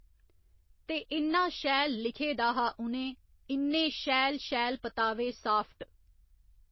ते इन्ना शैल लिखे दा हा उ'नें इन्ने शैल शैल पतावे साफ्ट